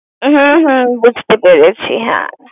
হুম-হুম বুঝতে পেরেছি। হ্যাঁ